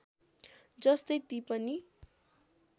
जस्तै ती पनि